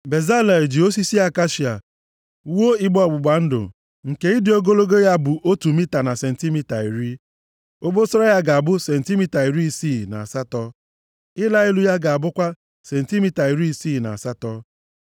Bezalel ji osisi akashia wuo igbe ọgbụgba ndụ nke ịdị ogologo ya bụ otu mita na sentimita iri. Obosara ya ga-abụ sentimita iri isii na asatọ. Ịla elu ya ga-abụkwa sentimita iri isii na asatọ.